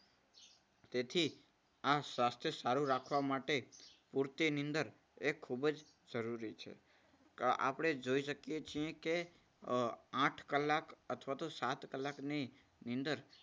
તેથી આ સ્વાસ્થ્ય સારું રાખવા માટે પૂરતી નીંદર એ ખૂબ જ જરૂરી છે. આપણે જોઈ શકીએ છીએ કે અમ આઠ કલાક અથવા તો સાત કલાકની નીંદર